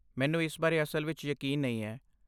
ਮੈਨੂੰ ਇਸ ਬਾਰੇ ਅਸਲ ਵਿੱਚ ਯਕੀਨ ਨਹੀਂ ਹੈ।